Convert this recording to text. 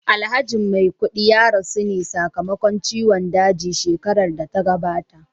Alhaji maikudi ya rasu ne sa kamakon ciwon daji shekarar data gabata